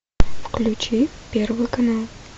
включи первый канал